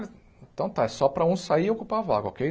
Então tá, é só para um sair e ocupar a vaga, okay?